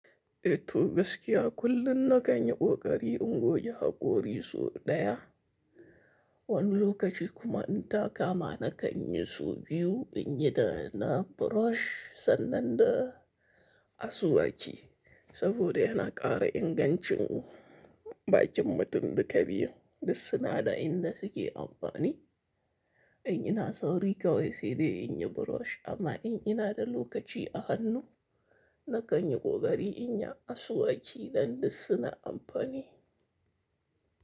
Ettuu gaskiyaa kullun na kan yi ƙooƙarii in googe haƙoorii so ɗayaa. Wanni lokachi kuma in taa kaamaa na kan yi saubiyyuu inyi daa naa biroosh sannan daa asuwaachi saboodha yana ƙara innganchii bakin mutin dhuka biyun dussinaa daa indaa suke ampaanii. In ina sawrii kawai saidai in yi biroosh amma in inaa dhalookachi ahannu na kan yi ƙooƙarii inyaa asuwaachi dan dussinaa ampaanii.